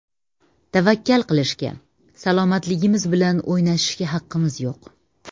Tavakkal qilishga, salomatligimiz bilan o‘ynashishga haqimiz yo‘q.